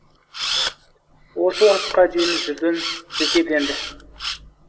осы уақытқа дейін жүрдің жетеді енді